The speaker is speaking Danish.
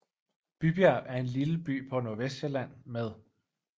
Bybjerg er en lille by på Nordvestsjælland med